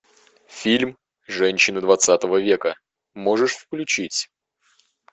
фильм женщины двадцатого века можешь включить